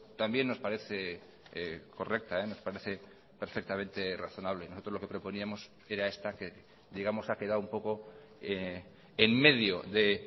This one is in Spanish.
también nos parece correcta nos parece perfectamente razonable nosotros lo que proponíamos era esta que digamos ha quedado un poco en medio de